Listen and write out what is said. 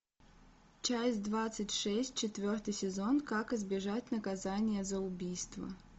часть двадцать шесть четвертый сезон как избежать наказания за убийство